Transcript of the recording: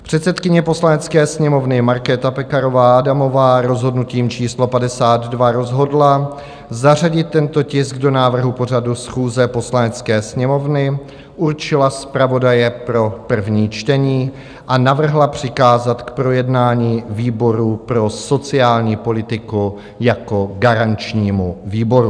Předsedkyně Poslanecké sněmovny Markéta Pekarová Adamová rozhodnutím číslo 52 rozhodla zařadit tento tisk do návrhu pořadu schůze Poslanecké sněmovny, určila zpravodaje pro první čtení a navrhla přikázat k projednání výboru pro sociální politiku jako garančnímu výboru.